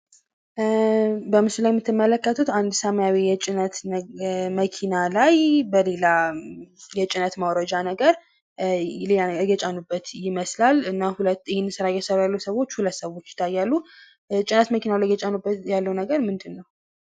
በምስሉ ላይ የምትመለከቱት አንድ ሰማያዊ የጭነት መኪና ላይ በሌላ የጭነት ማውረጃ ነገር እየጫኑበት ይመስላል ። እና ሁለት ይህን ስራ እየሰሩ ያሉ ሰዎች ሁለት ሰዎች ይታያሉ ። ጭነት መኪናው ላይ እየጫኑበት ያለው ነገር ምንድን ነው?